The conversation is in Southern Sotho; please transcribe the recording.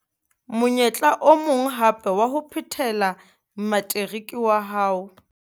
Monyetla o mong hape wa ho phethela materiki wa hao.